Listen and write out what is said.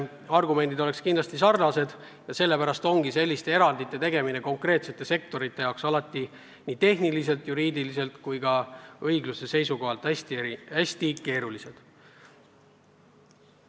Argumendid oleksid kindlasti sarnased ja sellepärast ongi selliste erandite tegemine konkreetsete sektorite jaoks nii tehniliselt, juriidiliselt kui ka õigluse seisukohalt hästi vaieldavad.